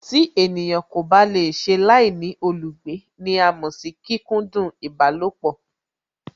Tí ènìyàn kò bá lè ṣe láìní olùgbé ní à mọ̀ sí kíkúndún ìbálòpọ̀